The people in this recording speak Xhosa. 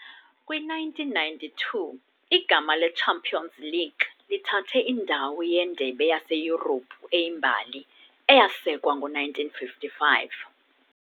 Kwi-1992, igama le-"Champions League" lithathe indawo "yeNdebe yaseYurophu" eyimbali, eyasekwa ngo-1955.